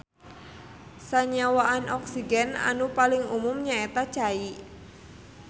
Sanyawaan oksigen anu paling umum nyaeta cai.